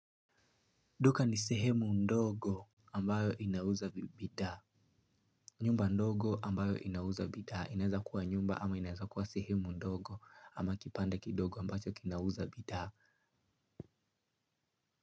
Duka ni sehemu ndogo ambayo inauza bidhaa. Nyumba ndogo ambayo inauza bidhaa. Inaeza kuwa nyumba ama inaeza kuwa sehemu ndogo ama kibanda kidogo ambacho kinauza bidhaa.